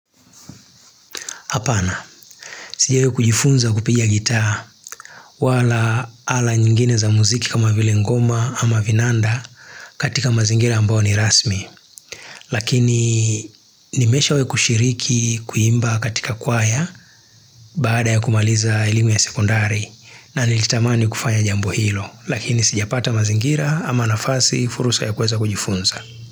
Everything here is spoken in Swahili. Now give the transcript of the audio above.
Apana, sijawai kujifunza kupiga gitaa wala ala nyingine za muziki kama vile ngoma ama vinanda katika mazingira ambao ni rasmi. Lakini nimeshawai kushiriki kuimba katika kwaya baada ya kumaliza elimu ya sekondari na nilitamani kufanya jambo hilo. Lakini sijapata mazingira ama nafasi fursa ya kuweza kujifunza.